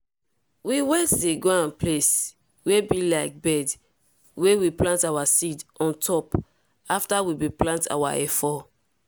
we wet the ground place wey be like bed wey we plant our seed on top afta we bin plant our efo.